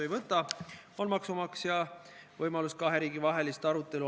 Me arutame meresõiduohutust, aga sattusime otsapidi hoopis raudteele.